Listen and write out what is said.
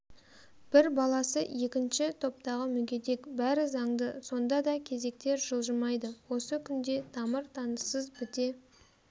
бір баласы екінші топтағы мүгедек бәрі заңды сонда да кезектер жылжымайды осы күнде тамыр-таныссыз біте